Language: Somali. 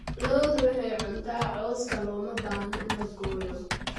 Lo'du waxay cuntaa cawska, looma baahna in la gooyo.